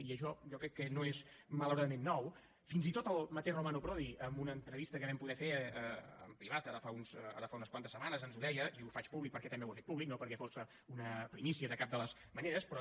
i això jo crec que no és malauradament nou fins i tot el mateix romano prodi en una entrevista que vam poder fer en privat ara fa unes quantes setmanes ens ho deia i ho faig públic perquè també ho ha fet públic no perquè fos una primícia de cap de les maneres però